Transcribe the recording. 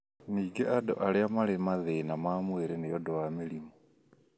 Ningĩ andũ arĩa marĩ na mathĩna ma mwĩrĩ nĩ ũndũ wa mĩrimũ.